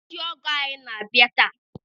Ndị ọgọ anyị na-abịa taa.